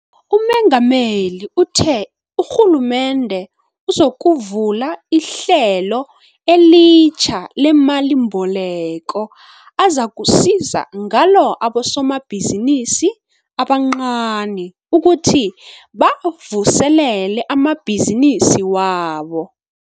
UMengameli uthe urhulumende uzokuvula ihlelo elitjha lemalimboleko azakusiza ngalo abosomabhizinisi abancani ukuthi bavuselele amabhizinisi wabo.